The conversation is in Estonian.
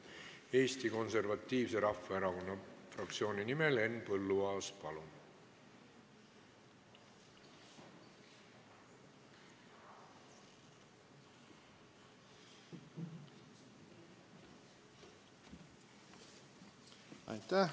Eesti Konservatiivse Rahvaerakonna fraktsiooni nimel Henn Põlluaas, palun!